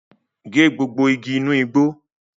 Gé gbogbo igi inu igbó!